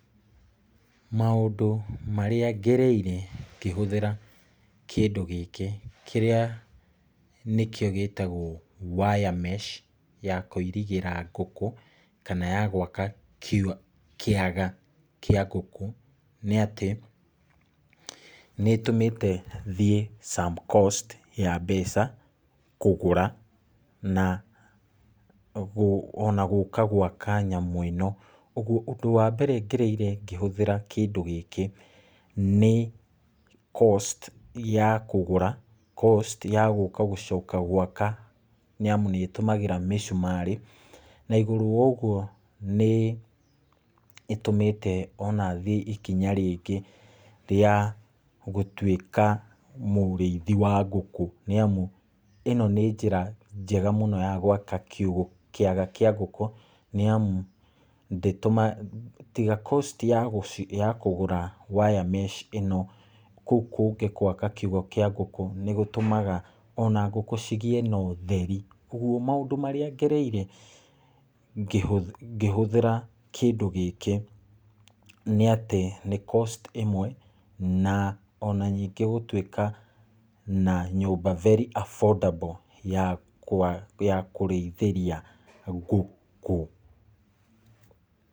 Maũndũ marĩa ngereire ngĩhũthĩra kĩndũ gĩkĩ, kĩrĩa nĩkĩo gĩtagwo wiremesh ya kũirigĩra ngũkũ, kana ya gwaka kiugũ kĩaga kĩa ngũkũ nĩ atĩ ,nĩ ĩtũmĩte thiĩ some cost ya mbeca kũgũra, na ona gũka gwaka nyamũ ĩno , ũgwo ũndũ wa mbere ngereire ngĩhũthĩra kĩndũ gĩkĩ, nĩ cost ya kũgũra, cost ya gũcoka gũka gwaka nĩ amu nĩ ĩtũmagĩra mĩcumarĩ , na igũrũ ya ũgwo nĩ ĩtũmĩte ona thiĩ ikinya rĩngĩ rĩa gũtwĩka mũrĩithia wa ngũkũ , nĩ amu ĩno nĩ njĩra njega mũno ya gwaka kiugũ kĩaga kĩa ngũkũ, nĩ amu tiga kosti ya kũgũra wiremesh ĩno, kũu kũngĩ gwaka kiugũ kĩa ngũkũ nĩgũtũmaga ona ngũkũ cigĩe na ũtheri , ũgwo maũndũ marĩa ngereire, ngĩhũthĩra kĩndũ gĩkĩ nĩ atĩ no kosti ĩmwe , na ona ningĩ gũtwĩka na nyũmba very affordable ya kũrĩithĩria ngũkũ.